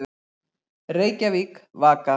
Reykjavík, Vaka.